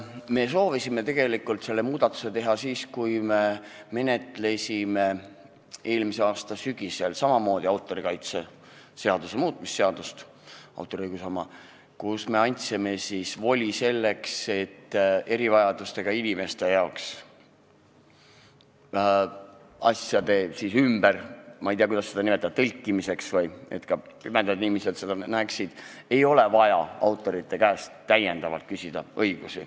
Me soovisime tegelikult selle muudatuse teha siis, kui me menetlesime eelmise aasta sügisel autoriõiguse seaduse muutmise seadust, samuti autorikaitse kohta, kus me andsime voli selleks, et erivajadustega inimestele, näiteks pimedatele asjade ümber tõlkimiseks – või ma ei tea, kuidas seda nimetada – ei ole vaja autoritelt õigusi küsida.